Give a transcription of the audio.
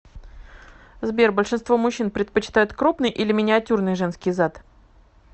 сбер большинство мужчин предпочитает крупный или миниатюрный женский зад